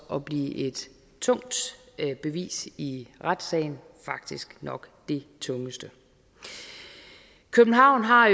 at blive et tungt bevis i retssagen faktisk nok det tungeste københavn har